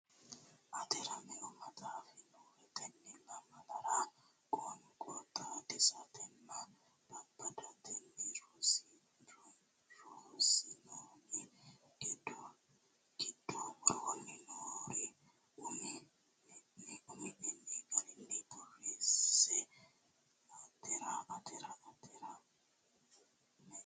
Atera meu maxaafi noohe Tenne lamalara qoonqo xaadisatenninna babbadatenni rossinoonni giddo woroonni noore umi nenni garunni borreesse Atera Atera meu.